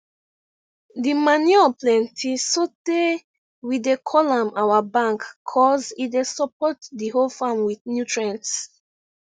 di manure plenty sotey we dey call am our bank cuz e dey support di whole farm with nutrients